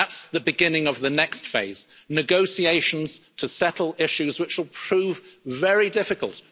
true. That's the beginning of the next phase negotiations to settle issues which will prove very difficult.